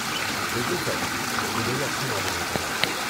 بالکل سر۔ مجھے یہ اچھا معلوم ہوتا ہے۔